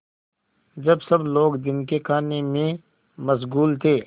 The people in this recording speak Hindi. जब सब लोग दिन के खाने में मशगूल थे